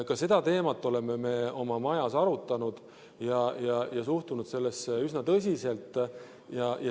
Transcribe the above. Ka seda teemat oleme me oma majas arutanud ja suhtunud sellesse üsna tõsiselt.